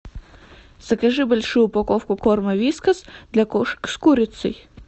закажи большую упаковку корма вискас для кошек с курицей